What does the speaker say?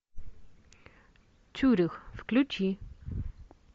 цюрих включи